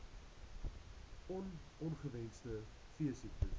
on ongewenste veesiektes